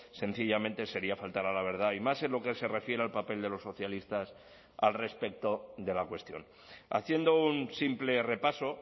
sencillamente sería faltar a la verdad y más en lo que se refiere al papel de los socialistas al respecto de la cuestión haciendo un simple repaso